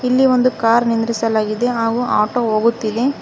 ಇಲ್ಲಿ ಒಂದು ಕಾರ್ ನಿಂದ್ರಿಸಲಾಗಿದೆ ಹಾಗೂ ಆಟೋ ಹೋಗುತ್ತಿದೆ.